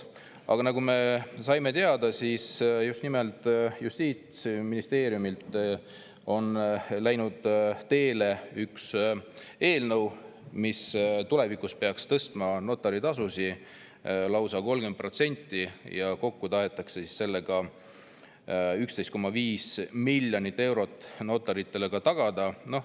Aga nagu me saime teada, on nimelt Justiitsministeeriumist läinud teele üks eelnõu, mis peaks tulevikus tõstma notaritasusid lausa 30%, kokku tahetakse sellega tagada 11,5 miljonit eurot ka notarite jaoks.